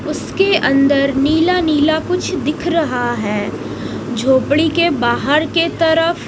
उसके अंदर नीला नीला कुछ दिख रहा है झोपड़ी के बाहर के तरफ--